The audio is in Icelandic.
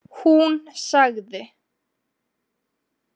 Hún sagði: